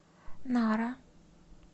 нара